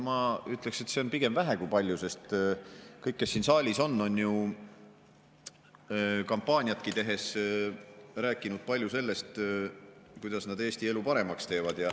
Ma ütleksin, et see on pigem vähe kui palju, sest kõik, kes siin saalis on, on ju kampaaniat tehes rääkinud palju sellest, kuidas nad Eesti elu paremaks teevad.